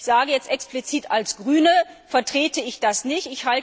Ich sage jetzt explizit, als Grüne vertrete ich das nicht.